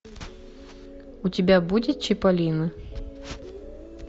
у тебя будет чиполлино